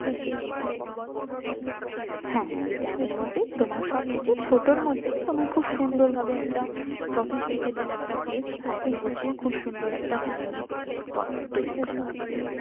হ্যাঁ হ্যাঁ ওই dam মধ্যেই তোমার সব কিছু ছোটর মধ্যেই খুব সুন্দর ভাবে একটা sophisticated একটা place সাজিয়ে গুছিয়ে খুব সুন্দর একটা family picnic spot তৈরি করা হয়েছে